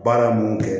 Baara mun kɛ